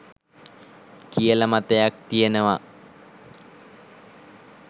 කියල මතයක් තියෙනවා.